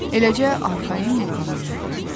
Eləcə arxayın yırğalanırdı.